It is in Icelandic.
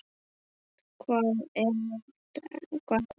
Hvað er að frétta!